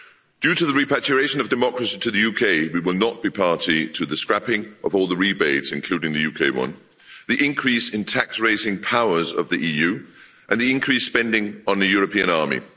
Due to the repatriation of democracy to the UK, we will not be party to the scrapping of all the rebates, including the UK one, the increase in tax-raising powers of the EU, and the increased spending on a European army.